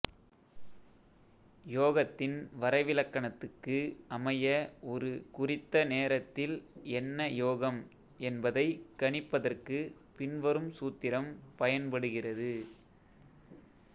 யோகத்தின் வரைவிலக்கணத்துக்கு அமைய ஒரு குறித்த நேரத்தில் என்ன யோகம் என்பதைக் கணிப்பதற்குப் பின்வரும் சூத்திரம் பயன்படுகிறது